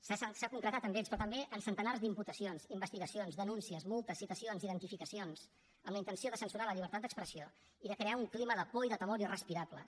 s’ha concretat en ells però també en centenars d’imputacions investigacions denúncies multes citacions identificacions amb la intenció de censurar la llibertat d’expressió i de crear un clima de por i de temor irrespirables